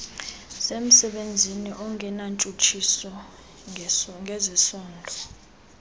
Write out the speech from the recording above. semsebenzini ongenantshutshiso ngezesondo